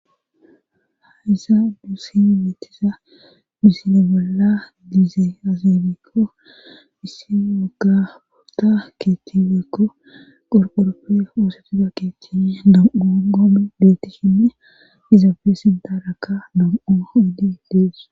haysan nusi betiza missile bolla diize azebikko missiagapota keethti woykko qorqooroppe oosetida keettine damo goom deettishinne izaafe sindaraka dam7o idi dees